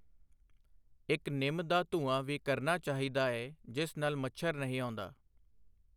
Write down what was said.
ਇੱਕ ਨਿੰਮ ਦਾ ਧੂੰਆਂ ਵੀ ਕਰਨਾ ਚਾਹੀਦਾ ਏ ਜਿਸ ਨਾਲ਼ ਮੱਛਰ ਨਹੀਂ ਆਉਂਦਾ।